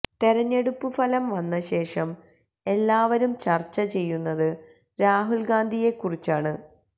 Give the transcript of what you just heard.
തെരഞ്ഞെടുപ്പു ഫലം വന്ന ശേഷം എല്ലാവരും ചര്ച്ചചെയ്യുന്നത് രാഹുല് ഗാന്ധിയെക്കുറിച്ചാണ്